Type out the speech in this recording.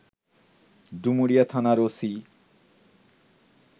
ডুমুরিয়া থানার ওসি